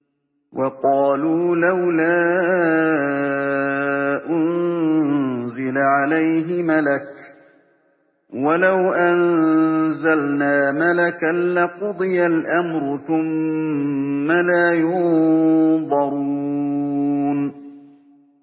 وَقَالُوا لَوْلَا أُنزِلَ عَلَيْهِ مَلَكٌ ۖ وَلَوْ أَنزَلْنَا مَلَكًا لَّقُضِيَ الْأَمْرُ ثُمَّ لَا يُنظَرُونَ